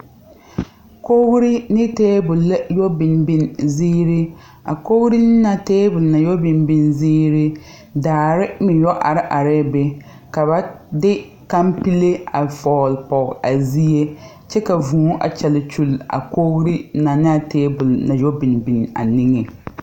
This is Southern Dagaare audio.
Kogre ne tabol la yɛ biŋ biŋ zeere a kogre ne a tabole na yɔ biŋ biŋ zeere daare meŋ yɔ are areɛɛ be ka ba de kampile a vɔɔle pɔge a zie kyɛ ka vūū a kyɛ kyule a koge na naa tabole na yɔ biŋ biŋ a neŋeŋ.